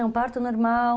Um parto normal.